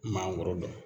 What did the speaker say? Maakɔrɔba don